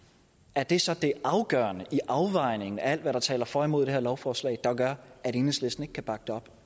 er det så det afgørende i afvejningen af alt hvad der taler for og imod det her lovforslag der gør at enhedslisten ikke kan bakke det op